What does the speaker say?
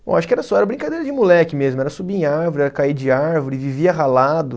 Bom, acho que era só, era brincadeira de moleque mesmo, era subir em árvore, era cair de árvore, vivia ralado.